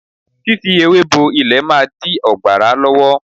Fífi ewé bo ilẹ̀ máa dí ọ̀gbàrá lọ́wọ́.